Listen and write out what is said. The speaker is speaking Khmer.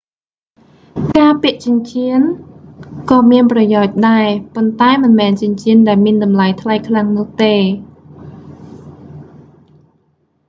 ការពាក់ចិញ្ចៀនក៏មានប្រយោជន៍ដែរ ប៉ុន្ដែមិនមែនចិញ្ចៀនដែលមានតម្លៃថ្លៃខ្លាំងនោះទេ